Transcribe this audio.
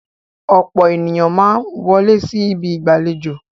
Ọ̀pọ̀ ènìyàn máa ń wọlé sí ibi ìgbàlejò.